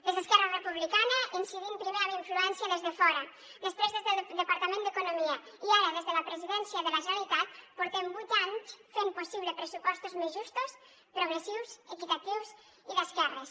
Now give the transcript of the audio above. des d’esquerra republicana incidint primer amb influència des de fora després des del departament d’economia i ara des de la presidència de la generalitat portem vuit anys fent possible pressupostos més justos progressius equitatius i d’esquerres